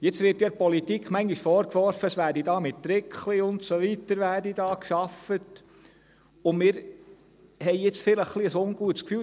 Jetzt wird ja der Politik manchmal vorgeworfen, es werde mit «Trickli» und Ähnlichem gearbeitet, und wir haben jetzt vielleicht ein etwas ungutes Gefühl.